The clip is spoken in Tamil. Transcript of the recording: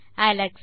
அலெக்ஸ்